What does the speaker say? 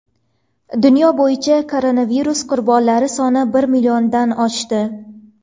Dunyo bo‘yicha koronavirus qurbonlari soni bir milliondan oshdi.